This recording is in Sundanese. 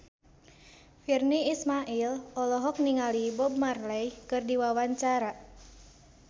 Virnie Ismail olohok ningali Bob Marley keur diwawancara